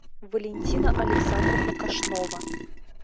валентина александровна кашнова